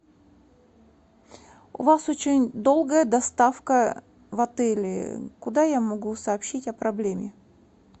у вас очень долгая доставка в отеле куда я могу сообщить о проблеме